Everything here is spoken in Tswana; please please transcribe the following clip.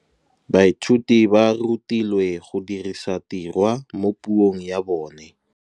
Baithuti ba rutilwe go dirisa tirwa mo puong ya bone.